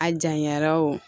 A janyara o